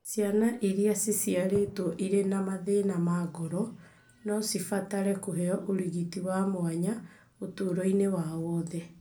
Ciana iria ciciarĩtwo irĩ na mathĩna ma ngoro no cibatare kũheo ũrigiti wa mwanya ũtũũro-inĩ wao wothe.